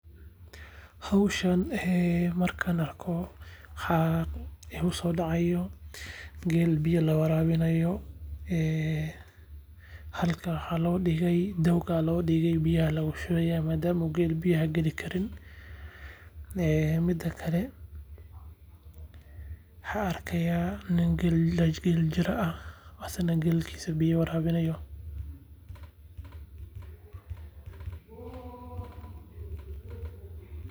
Howshaan markaan arko waxaa igusoo dacaayo geel biya la waraawinaayo, halkaan waxaa loo digay dawag biyaha loogu shubay maadaamaa geela uu biyaha gali karin. Mida kale waxaan arkaayaa nin geel jira aah asagana geeliisa biya waraawinaayo